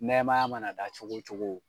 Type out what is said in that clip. Nɛmaya mana da cogo cogo